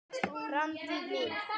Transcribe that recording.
Framtíð mín?